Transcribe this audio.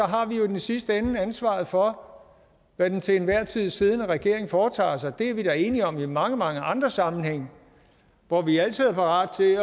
har vi i den sidste ende ansvaret for hvad den til enhver tid siddende regering foretager sig det er vi da enige om i mange mange andre sammenhænge hvor vi altid er parat til